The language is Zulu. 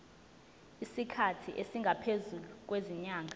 isikhathi esingaphezulu kwezinyanga